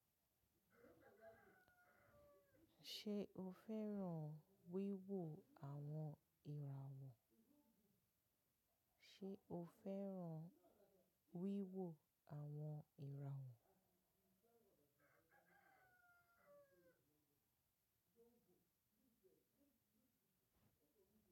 Ṣé o fẹ́ràn wíwo àwon irawọ? Àwọn ìràwọ̀?